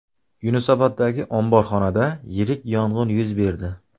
Yunusoboddagi omborxonada yirik yong‘in yuz berdi .